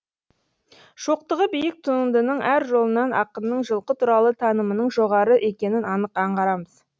шоқтығы биік туындының әр жолынан ақынның жылқы туралы танымының жоғары екенін анық аңғарамыз